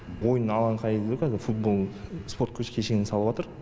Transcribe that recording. ойын алаңқайы дейді ғой қазір футбол спорт кешенін салыватыр